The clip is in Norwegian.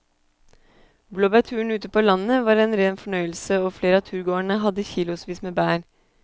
Blåbærturen ute på landet var en rein fornøyelse og flere av turgåerene hadde kilosvis med bær.